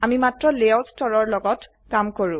আমি মাত্ৰ লেয়াউট স্তৰৰ লগত কাম কৰো